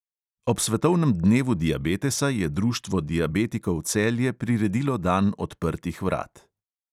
Ob svetovnem dnevu diabetesa je društvo diabetikov celje priredilo dan odprtih vrat.